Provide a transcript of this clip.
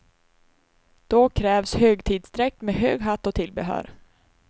Då krävs högtidsdräkt med hög hatt och tillbehör.